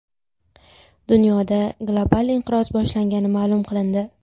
Dunyoda global inqiroz boshlangani ma’lum qilindi.